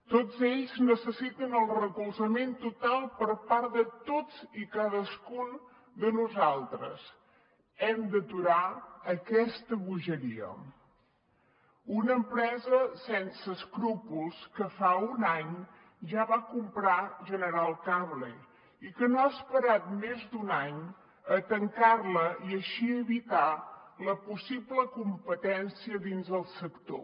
tots ells necessiten el recolzament total per part de tots i cadascun de nosaltres hem d’aturar aquesta bogeria una empresa sense escrúpols que fa un any ja va comprar general cable i que no ha esperat més d’un any a tancar la i així evitar la possible competència dins el sector